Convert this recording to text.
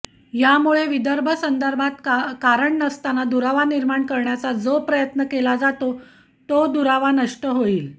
यामुळे विदर्भासंदर्भात कारण नसताना दुरावा निर्माण करण्याचा जो प्रयत्न केला जातो तो दुरावा नष्ट होईल